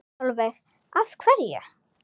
Sólveig: Af hverju?